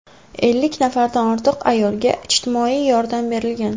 Ellik nafardan ortiq ayolga ijtimoiy yordam berilgan.